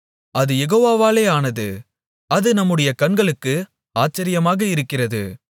அது யெகோவாவாலே ஆனது அது நம்முடைய கண்களுக்கு ஆச்சரியமாக இருக்கிறது